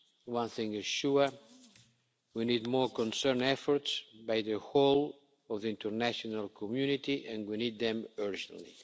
One thing is sure, we need more concerted efforts by the whole of the international community and we need them urgently.